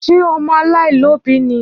Ṣé ọmọ alaialobi ni?